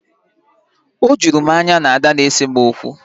O juru m anya na Ada na-ese m okwu